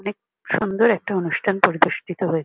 এখানে সুন্দর একটা অনুষ্ঠান পরিবেষ্ঠিত হয়ে--